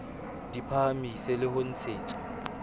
di phahamiswe le ho ntshetswa